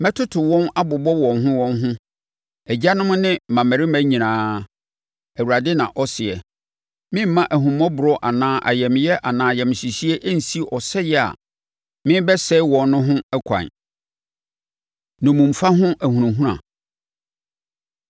Mɛtoto wɔn abobɔ wɔn ho wɔn ho, agyanom ne mmammarima nyinaa, Awurade na ɔseɛ. Meremma ahummɔborɔ anaa ayamyɛ anaa ayamhyehyeɛ nsi ɔsɛe a merebɛsɛe wɔn no ho ɛkwan.’ ” Nnommumfa Ho Ahunahuna